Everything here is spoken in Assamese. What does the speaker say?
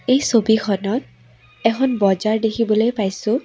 এই ছবিখনত এখন বজাৰ দেখিবলৈ পাইছোঁ।